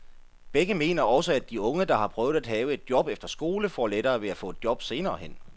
Begge mener også, at de unge, der har prøvet at have et job efter skole, får lettere ved at få et job senere hen.